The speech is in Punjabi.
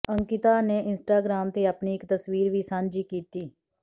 ਅੰਕਿਤਾ ਨੇ ਇੰਸਟਾਗ੍ਰਾਮ ਤੇ ਆਪਣੀ ਇੱਕ ਤਸਵੀਰ ਵੀ ਸਾਂਝੀ ਕੀਤੀ